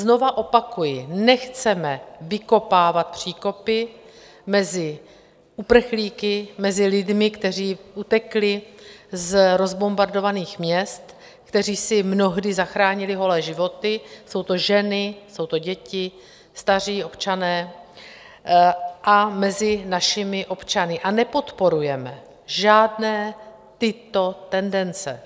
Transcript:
Znova opakuji, nechceme vykopávat příkopy mezi uprchlíky, mezi lidmi, kteří utekli z rozbombardovaných měst, kteří si mnohdy zachránili holé životy - jsou to ženy, jsou to děti, staří občané - a mezi našimi občany, a nepodporujeme žádné tyto tendence.